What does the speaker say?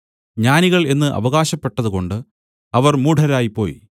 ജ്ഞാനികൾ എന്നു അവകാശപ്പെട്ടുകൊണ്ട് അവർ മൂഢരായിപ്പോയി